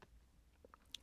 DR2